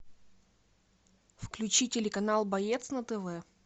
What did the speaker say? включи телеканал боец на тв